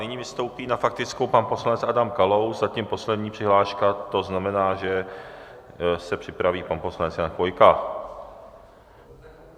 Nyní vystoupí na faktickou pan poslanec Adam Kalous, zatím poslední přihláška, to znamená, že se připraví pan poslanec Jan Chvojka.